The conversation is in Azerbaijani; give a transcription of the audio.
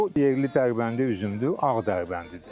Bu yerli Dərbəndi üzümdür, ağ Dərbəndidir.